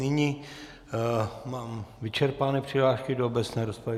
Nyní mám vyčerpány přihlášky do obecné rozpravy.